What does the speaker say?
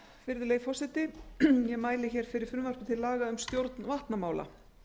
virðulegi forseti ég mæli fyrir frumvarpi til laga um stjórn vatnamála